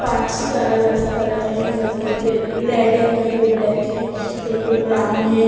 Parts के अलग-अलग colour है कई-कई पे रेड है कहीं पे ब्लैक है कहीं पे ब्राउन है।